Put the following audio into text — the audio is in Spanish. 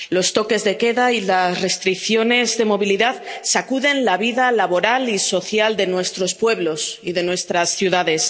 Los toques de queda y las restricciones de movilidad sacuden la vida laboral y social de nuestros pueblos y de nuestras ciudades.